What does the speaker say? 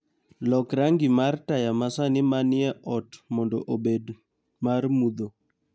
Lok rangi mar taya masani manie ot mondo obed mar mudho.